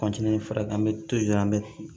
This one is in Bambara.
fara kan an bɛ to ji la an bɛ